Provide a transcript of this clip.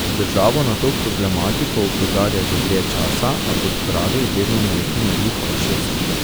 Državo na to problematiko opozarja že dlje časa, a, kot pravi, vedno naleti na gluha ušesa.